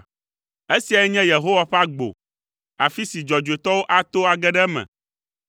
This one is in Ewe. Esiae nye Yehowa ƒe agbo, afi si dzɔdzɔetɔwo ato age ɖe eme.